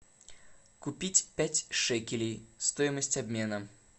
купить пять шекелей стоимость обмена